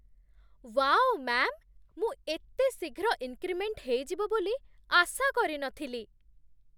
Wow, ma'am! ମୁଁ ଏତେ ଶୀଘ୍ର ଇନ୍‌କ୍ରିମେଣ୍ଟ୍ ହେଇଯିବ ବୋଲି ଆଶା କରି ନଥିଲି!